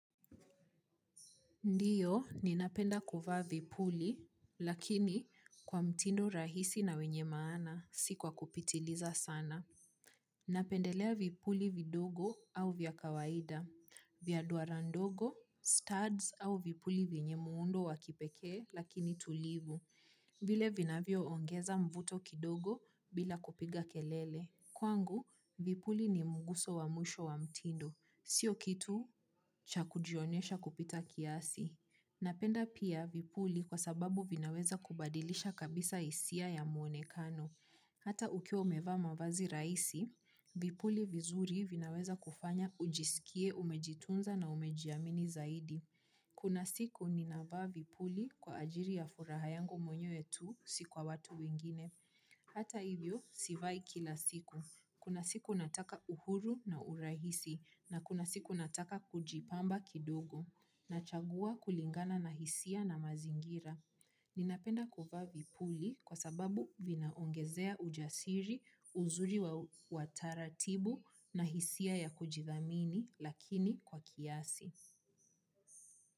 Ndiyo ninapenda kuvaa vipuli lakini kwa mtindo rahisi na wenye maana si kwa kupitiliza sana. Napendelea vipuli vidogo au vya kawaida, vya duara ndogo, studs au vipuli vyenye muundo wakipeke, lakini tulivu. Vile vinavyo ongeza mvuto kidogo bila kupiga kelele. Kwangu, vipuli ni mguso wa mwisho wa mtindo, sio kitu cha kujionyesha kupita kiasi. Napenda pia vipuli kwa sababu vinaweza kubadilisha kabisa hisia ya muone kano. Hata ukiwa umevaa mavazi rahisi, vipuli vizuri vinaweza kufanya ujisikie umejitunza na umejiamini zaidi. Kuna siku ni navaa vipuli kwa ajiri ya furaha yangu mwenyewe tu si kwa watu wengine. Hata hivyo sivai kila siku. Kuna siku nataka uhuru na urahisi na kuna siku nataka kujipamba kidogo. Na chagua kulingana na hisia na mazingira. Ninapenda kuvaa vipuli kwa sababu vinaongezea ujasiri uzuri wa taratibu na hisia ya kujithamini lakini kwa kiasi.